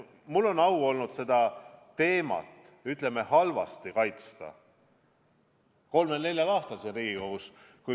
Mul on olnud au seda teemat, ütleme, halvasti kaitsta kolmel-neljal aastal siin Riigikogus.